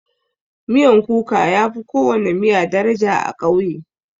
Miyan kuka yafi kowana miya daraja a ƙauye.